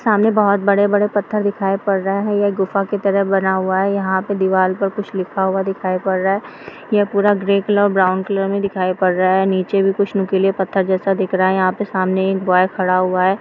सामने बहुत बड़े-बड़े पत्थर दिखाई पड़ रहा है गुफा की तरह बना हुआ है। यहाँ पर दीवाल पर कुछ लिखा हुआ दिखाई पड़ रहा है। यह पूरा ग्रे कलर और ब्राउन कलर दिखाई पड़ रहा है। नीचे कुछ नोकीला पत्थर जैसा दिख रहा है। सामने कोई एक बॉय खड़ा हुआ है।